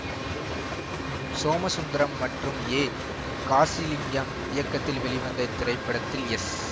சோமசுந்தரம் மற்றும் ஏ காசிலிங்கம் இயக்கத்தில் வெளிவந்த இத்திரைப்படத்தில் எஸ்